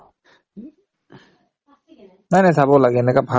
নাই নাই চাব লাগে এনেকা ভাল